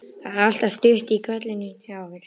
Það er alltaf stutt í hvellinn hjá okkur.